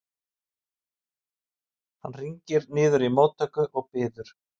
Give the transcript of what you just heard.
Hann hringir niður í móttöku og biður